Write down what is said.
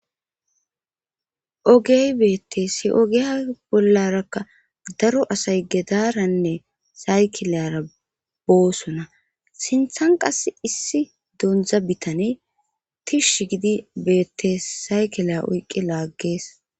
ogey beetteesi ogea bollarakka daro asay gedaranne saykilyara boosona sinthan qas issi dondza bitane tish gidi beetteessaykila oyqqi laaggees